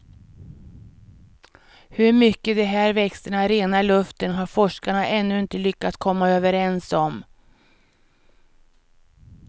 Hur mycket de här växterna renar luften har forskarna ännu inte lyckats komma överens om.